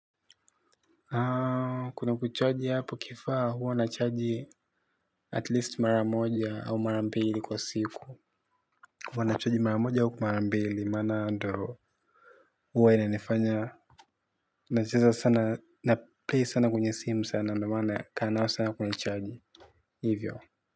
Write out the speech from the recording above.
Kuna kucharge hapo kifaa huwa nacharge at least mara moja au mara mbili kwa siku. Huwa nacharge mara moja au mara mbili maana ndo huwa inanifanya nacheza sana na play sana kwenye simu sana ndio maana kaa sana kwenye chaji. Hivyo.